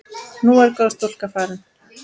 Nú er góð stúlka farin.